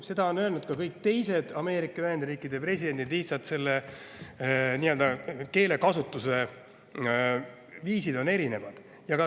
Seda on öelnud ka kõik teised Ameerika Ühendriikide presidendid, lihtsalt nende keelekasutus ja viis on erinevad.